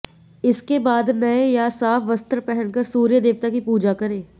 इसके बाद नए या साफ वस्त्र पहनकर सूर्य देवता की पूजा करें